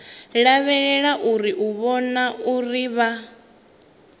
lavhelelwa u vhona uri vha